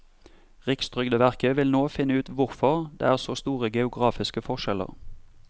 Rikstrygdeverket vil nå finne ut hvorfor det er så store geografiske forskjeller.